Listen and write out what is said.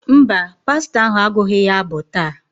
Mba, pastọ ahụ agụghị ya abụ taa.